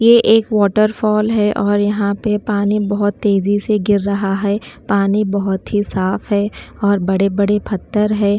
ये एक वाटरफॉल है और यहां पर पानी बहुत तेजी से गिर रहा है पानी बहुत ही साफ है और बड़े-बड़े पत्थर है।